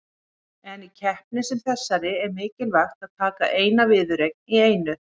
En í keppni sem þessari er mikilvægt að taka eina viðureign í einu.